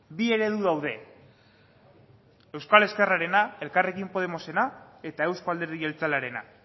bi eredu daude euskal ezkerrarena elkarrekin podemosena eta euzko alderdi jeltzalearena